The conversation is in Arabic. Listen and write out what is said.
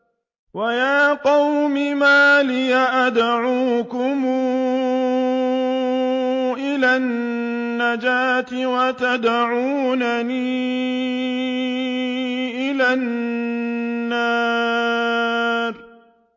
۞ وَيَا قَوْمِ مَا لِي أَدْعُوكُمْ إِلَى النَّجَاةِ وَتَدْعُونَنِي إِلَى النَّارِ